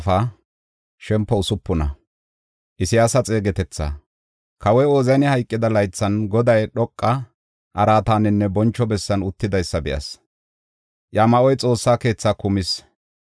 Kawoy Ooziyani hayqida laythi Goday dhoqa araataninne boncho bessan uttidaysa be7as; iya ma7oy Xoossa keethaa kumis.